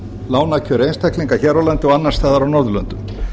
lánakjör einstaklinga hér á landi og annars staðar á norðurlöndum